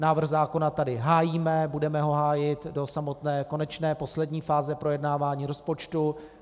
Návrh zákona tady hájíme, budeme ho hájit do samotné konečné, poslední fáze projednávání rozpočtu.